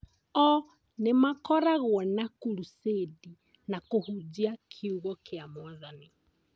O nĩmakoragwo na kurucĩndi na kũhunjia kiugo kĩa Mwathani